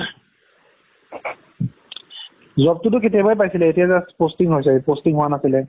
job তো তো কেতিয়াবাই পাইছিলে এতিয়া just posting হৈছে posting হুৱা নাছিলে